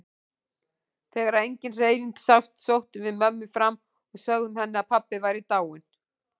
Þegar engin hreyfing sást sóttum við mömmu fram og sögðum henni að pabbi væri dáinn.